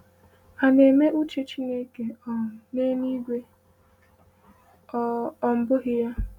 A na-eme uche Chineke um n’eluigwe, ọ um bụghị ya?